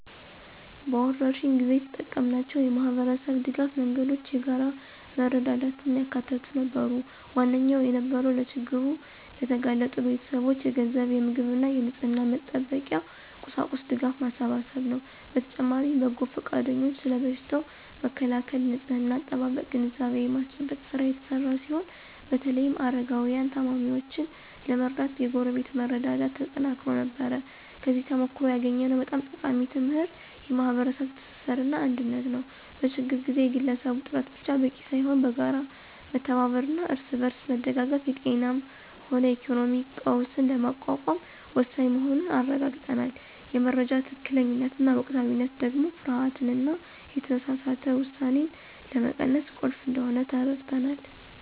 በወረርሽኝ ጊዜ የተጠቀምናቸው የማኅበረሰብ ድጋፍ መንገዶች የጋራ መረዳዳትን ያካተቱ ነበሩ። ዋነኛው የነበረው ለችግር ለተጋለጡ ቤተሰቦች የገንዘብ፣ የምግብና የንጽሕና መጠበቂያ ቁሳቁስ ድጋፍ ማሰባሰብ ነው። በተጨማሪም በጎ ፈቃደኞች ስለ በሽታው መከላከልና ንጽሕና አጠባበቅ ግንዛቤ የማስጨበጥ ሥራ የተሰራ ሲሆን በተለይም አረጋውያንንና ታማሚዎችን ለመርዳት የጎረቤት መረዳዳት ተጠናክሮ ነበር። ከዚህ ተሞክሮ ያገኘነው በጣም ጠቃሚ ትምህርት የማኅበረሰብ ትስስርና አንድነት ነው። በችግር ጊዜ የግለሰብ ጥረት ብቻ በቂ ሳይሆን በጋራ መተባበርና እርስ በርስ መደጋገፍ የጤናም ሆነ የኢኮኖሚ ቀውስን ለመቋቋም ወሳኝ መሆኑን አረጋግጠናል። የመረጃ ትክክለኛነትና ወቅታዊነት ደግሞ ፍርሃትንና የተሳሳተ ውሳኔን ለመቀነስ ቁልፍ እንደሆነ ተረድተናል።